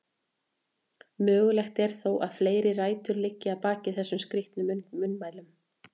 Mögulegt er þó að fleiri rætur liggi að baki þessum skrítnu munnmælum.